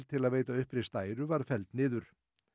til að veita uppreist æru var felld niður